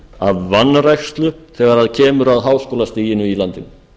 af vanrækslu þegar kemur að háskólastiginu í landinu